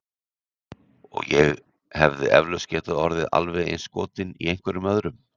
Og ég hefði eflaust getað orðið alveg eins skotin í einhverjum öðrum.